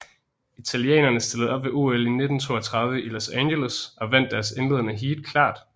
Italienerne stillede op ved OL 1932 i Los Angeles og vandt deres indledende heat klart